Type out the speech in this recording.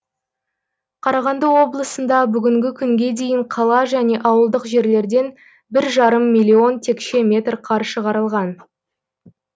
қарағанды облысында бүгінгі күнге дейін қала және ауылдық жерлерден бір жарым миллион текше метр қар шығарылған